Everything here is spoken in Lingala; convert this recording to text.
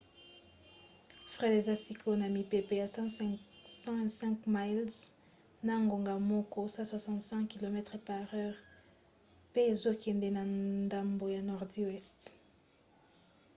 fred eza sikoyo na mipepe ya 105 miles na ngonga moko 165 km/h pe ezokende na ndambo ya nordi weste